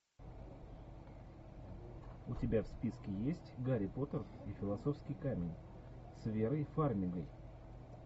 у тебя в списке есть гарри поттер и философский камень с верой фармигой